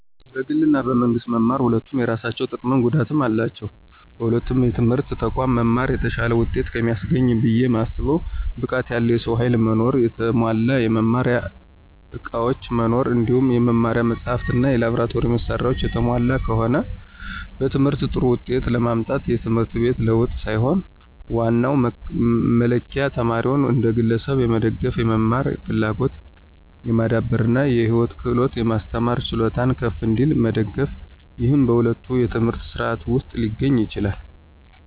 በግል እና በመንግስት መማር ሁለቱም የየራሳቸው ጥቀምም ጉዳትም አላቸው። በሁለቱም የትምህርት ተቋማት መማር የተሻለ ውጤት ከሚያስገኝበት ብየ ማስበው ብቃት ያለው የሰው ኃይል መኖር፣ የተሟላ የመማሪያ ዕቃዎች መኖር እንዲሁም የመማሪያ መጻሕፍት እና የላብራቶሪ መሳሪያዎች የተሟሉ ከሆነ። በትምህርት ጥሩ ውጤት ለማምጣት የትምህርት ቤት ለውጥ ሳይሆን ዋናው መለኪያ ተማሪውን እንደ ግለሰብ የመደገፍ፣ የመማር ፍላጎትን የማዳበር እና የህይወት ክህሎቶችን የማስተማር ችሎታው ከፍ እንዲል መደገፍ፤ ይህም በሁለቱም የትምህርት ሥርዓቶች ውስጥ ሊገኝ ይችላል።